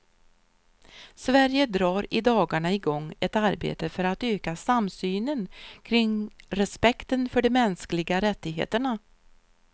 Sverige drar i dagarna i gång ett arbete för att öka samsynen kring respekten för de mänskliga rättigheterna.